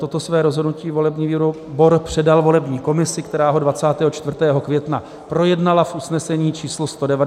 Toto své rozhodnutí volební výbor předal volební komisi, která ho 24. května projednala v usnesení číslo 199 per rollam.